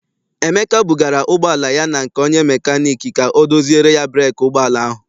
Emeka bugara ụgbọala ya na nke onye mekaniiki ka ọ doziere ya breeki ụgbọala ahụ.